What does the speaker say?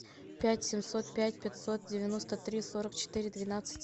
пять семьсот пять пятьсот девяносто три сорок четыре двенадцать